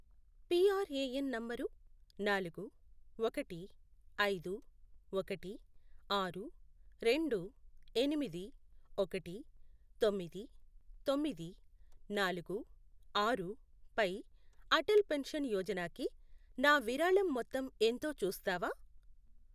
PRAN number నాలుగు, ఒకటి, ఐదు, ఒకటి, ఆరు, రెండు, ఎనిమిది, ఒకటి, తొమ్మిది, తొమ్మిది, నాలుగు, ఆరు, పై అటల్ పెన్షన్ యోజనాకి నా విరాళం మొత్తం ఎంతో చూస్తావా?